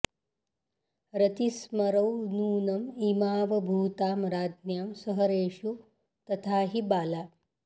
रतिस्मरौ नूनं इमावभूतां राज्ञां सहरेषु तथा हि बाला